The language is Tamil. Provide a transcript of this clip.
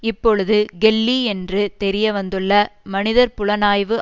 இப்பொழுது கெல்லி என்று தெரிய வந்துள்ள மனிதர் புலனாய்வு